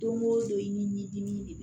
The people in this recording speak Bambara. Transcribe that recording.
Don o don i ni dimi de